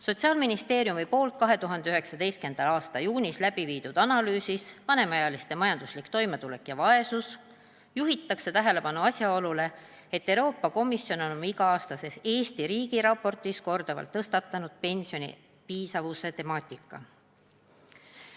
Sotsiaalministeeriumi 2019. aasta juunis tehtud analüüsis "Vanemaealiste majanduslik toimetulek ja vaesus" juhitakse tähelepanu asjaolule, et Euroopa Komisjon on oma iga-aastases Eesti riigiraportis korduvalt tõstatanud pensioni piisavuse temaatika.